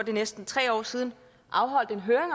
næsten tre år siden afholdt en høring